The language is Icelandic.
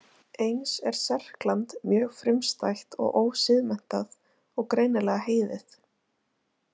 Eins er Serkland mjög frumstætt og ósiðmenntað og greinilega heiðið.